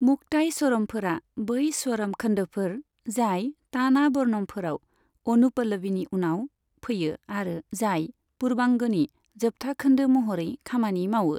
मुक्ताई स्वरमफोरा बै स्वरम खोन्दोफोर, जाय ताना वर्णमफोराव अनुपलवीनि उनाव फैयो आरो जाय पूर्वांगनि जोबथा खोन्दो महरै खामानि मावो।